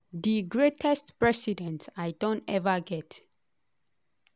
di greatest president i don ever get.